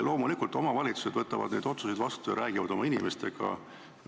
Loomulikult võtavad omavalitsused neid otsuseid vastu ja räägivad oma inimestega.